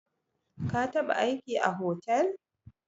Ka taba aiki a hotel?